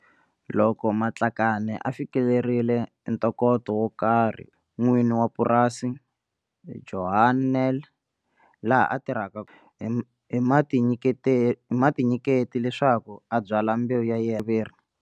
Loko Matlakane a fikelerile ntokoto wo karhi n'wini wa purasi, Johan Nel, laha a tirha hi mutinyiketi leswaku a byala mbewu ya yena ya viriviri.